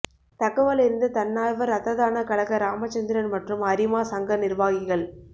தகவலறிந்த தன்னார்வ ரத்த தான கழக ராமச்சந்திரன் மற்றும் அரிமா சங்க நிர்வாகிகள்